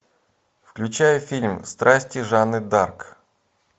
включай фильм страсти жанны дарк